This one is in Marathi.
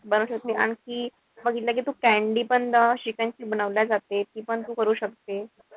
बनवू शकते. आणखी बघितलं कि तू candy पण chicken ची बनवले जाते. ती पण तू करू शकते.